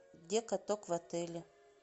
где каток в отеле